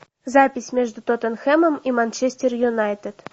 запись между тоттенхэмом и манчестер юнайтед